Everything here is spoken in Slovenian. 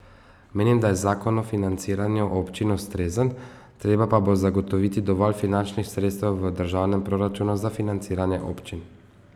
Menim, da je zakon o financiranju občin ustrezen, treba pa bo zagotoviti dovolj finančnih sredstev v državnem proračunu za financiranje občin.